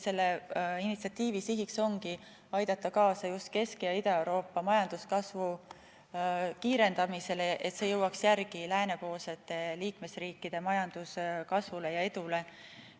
Selle initsiatiivi üks siht ongi aidata kaasa Kesk- ja Ida-Euroopa majanduskasvu kiirendamisele, et see jõuaks järele läänepoolsete liikmesriikide majanduskasvule ja edule.